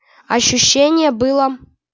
ощущение было